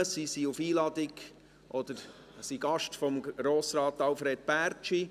Sie sind auf Einladung oder als Gäste von Grossrat Alfred Bärtschi hier.